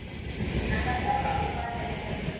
a nga lova u fanele